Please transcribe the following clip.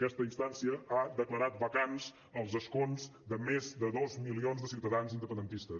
aquesta instància ha declarat vacants els escons de més de dos milions de ciutadans independentistes